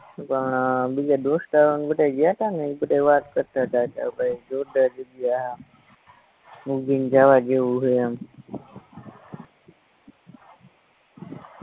પણ અ બીજા દોસ્તારુને બધાય ગ્યાતાને ઇ બધાય વાત કરતાતા કે ભાઈ જોરદાર જગ્યા હે ઉજૈન જાવા જેવું હે એમ